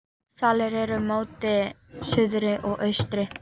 Svalir eru móti suðri og austri.